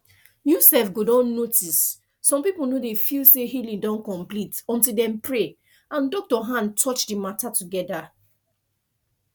you sef go don notice some people no dey feel say healing don complete until dem pray and doctor hand touch the matter together